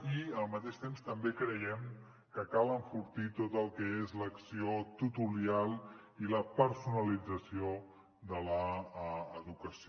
i al mateix temps també creiem que cal enfortir tot el que és l’acció tutorial i la personalització de l’educació